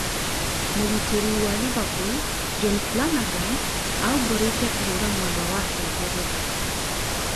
Mũgitĩri wa Liverpool Jon Flanagan aumbũrĩte kũhũra mwendwa wake Ngeretha